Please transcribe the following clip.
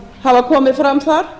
hafa komið fram þar